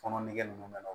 Fɔnɔ nege ninnu bɛ na